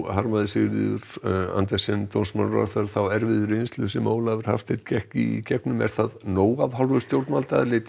harmaði Sigríður Andersen dómsmálaráðherra þá erfiðu reynslu sem Ólafur Hafsteinn gekk í gegnum er það nóg af hálfu stjórnvalda